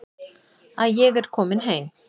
Að ég er komin heim.